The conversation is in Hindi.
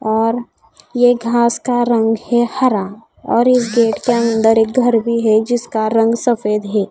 और यह घास का रंग है हरा और इस गेट के अंदर एक घर भी है जिसका रंग सफेद है।